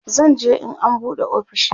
zan je in an buɗe ofishin